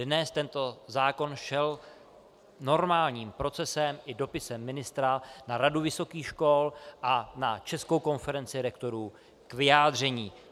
Dnes tento zákon šel normálním procesem i dopisem ministra na Radu vysokých škol a na Českou konferenci rektorů k vyjádření.